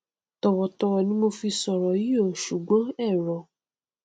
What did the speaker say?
tọwọ tọwọ ni mo fi sọrọ yí o ṣùgbọn èro